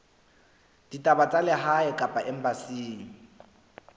ditaba tsa lehae kapa embasing